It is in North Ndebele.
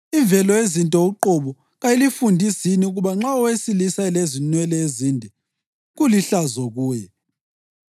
Imvelo yezinto uqobo kayilifundisi yini ukuba nxa owesilisa elenwele ezinde, kulihlazo kuye,